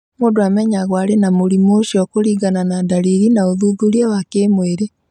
Mũndũ amenyagwo arĩ na mũrimũ ũcio kũringana na ndariri na ũthuthuria wa kĩmwĩrĩ.